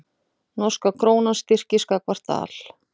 Norska krónan styrkist gagnvart dal